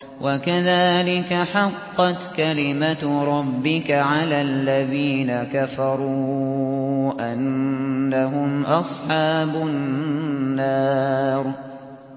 وَكَذَٰلِكَ حَقَّتْ كَلِمَتُ رَبِّكَ عَلَى الَّذِينَ كَفَرُوا أَنَّهُمْ أَصْحَابُ النَّارِ